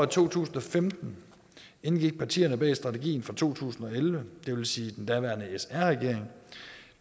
to tusind og femten indgik partierne bag strategien for to tusind og elleve det vil sige den daværende sr regering